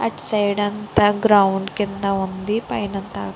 అటు సైడ్ అంత గ్రౌండ్ కింద ఉంది పైన అంత --